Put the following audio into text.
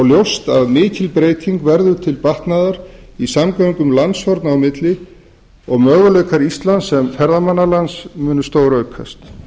ljóst að mikil breyting verður til batnaðar á samgöngum landshorna á milli og möguleikar íslands sem ferðamannalands stóraukast